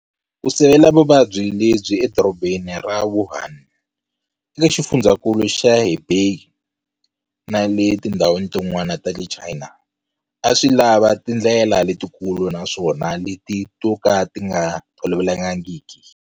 Ku sivela vuvabyi lebyi Edorobeni ra Wuhan, eka Xifundzankulu xa Hubei na le ka tindhawu tin'wana ta le China a swi lava tindlela letikulu naswona leti to ka ti nga tolovelekangiki.